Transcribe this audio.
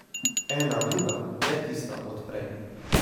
Ena druga, ne tista od prej.